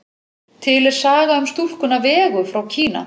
Til er saga um stúlkuna Vegu frá Kína.